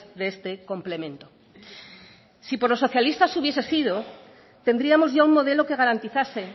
de este complemento si por los socialistas hubiese sido tendríamos ya un modelo que garantizase